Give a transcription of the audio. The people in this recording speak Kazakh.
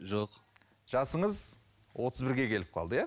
жоқ жасыңыз отыз бірге келіп қалды иә